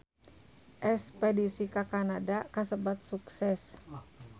Espedisi ka Kanada kasebat sukses